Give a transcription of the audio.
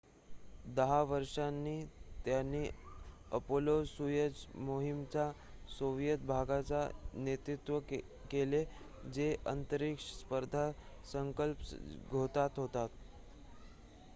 10 वर्षांनी त्यांनी अपोलो-सोयुझ मोहिमेच्या सोविएत भागाचे नेतृत्व केले जे अंतरिक्ष स्पर्धा संपल्याचे द्योतक होते